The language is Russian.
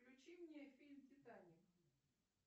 включи мне фильм титаник